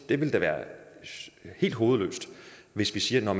det vil være helt hovedløst hvis vi siger